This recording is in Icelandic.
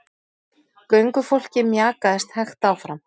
Göngufólkið mjakaðist hægt áfram.